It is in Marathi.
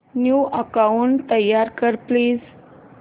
न्यू अकाऊंट तयार कर प्लीज